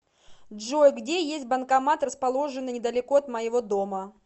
джой где есть банкомат расположенный недалеко от моего дома